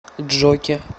джокер